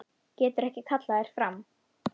Getur ekki kallað þær fram.